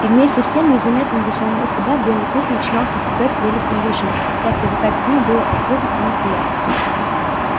и вместе с тем незаметно для самого себя белый клык начинал постигать прелесть новой жизни хотя привыкать к ней было и трудно и неприятно